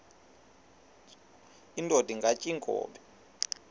indod ingaty iinkobe